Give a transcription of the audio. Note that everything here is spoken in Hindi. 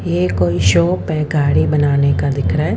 ये कोई शॉप है गाड़ी बनाने का दिख रहा है।